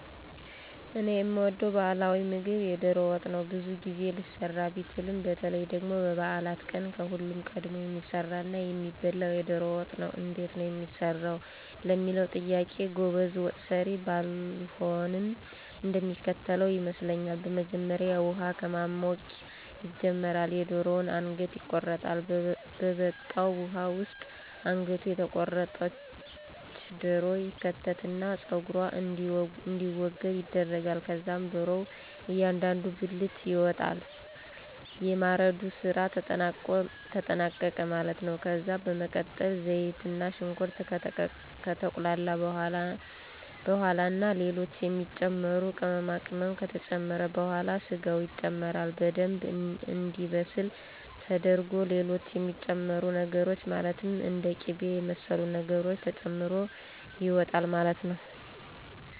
እኔ የምወደው ባህላዊ ምግብ የዶሮ ወጥ ነው። ብዙ ጊዜ ሊሰራ ቢችልም በተለይ ደግሞ በበዓላት ቀን ከሁሉም ቀድሞ የሚሰራና የሚበላው የዶሮ ወጥ ነው። እንዴት ነው የሚሰራው ለሚለው ጥያቄ ጎበዝ ወጠሰሪ ባልሆንም እንደሚከተለው ይመስለኛል። በመጀመሪያ ውሃ ከማሞቅ ይጀመራል፤ የደሮዋ አንገት ይቆረጣል፤ በበቃው ውሃ ውስጥ አንገቷ የተቆረጠች ዶሮ ይከተትና ፀጉሯ እንዲወገድ ይደረጋል። ከዛም ዶሮዋ እያንዳንዱ ብልት ይወጣል። የማረዱ ስራ ተጠናቀቀ ማለት ነው። ከዛ በመቀጠል ዘይትና ሽንኩርት ከተቁላላ በኋላ ና ሌሎች የሚጨመሩ ቅመማቅመም ከተጨመረ በኋላ ስጋው ይጨመራል። በደምብ እንዲበስል ተደርጎ ሌሎች የሚጨመሩ ነገሮች ማለትም እንደ ቂበ የመሰሉ ነገሮች ተጨምሮ ይወጣል ማለት ነው።